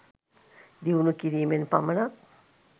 දියුණු කිරීමෙන් පමණක්